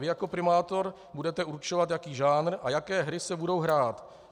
Vy jako primátor budete určovat, jaký žánr a jaké hry se budou hrát.